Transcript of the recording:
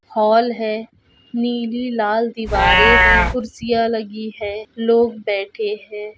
Hall है नीली लाल दीवारे है कुर्सियां लगी है लोग बैठे है।